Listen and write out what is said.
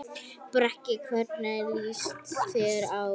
Breki: Hvernig líst þér á?